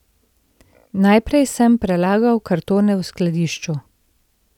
Najprej sem prelagal kartone v skladišču.